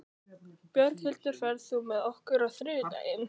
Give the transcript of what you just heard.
Björghildur, ferð þú með okkur á þriðjudaginn?